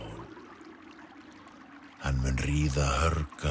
hann mun ríða